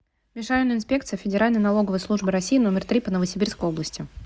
межрайонная инспекция федеральной налоговой службы россии номер три по новосибирской области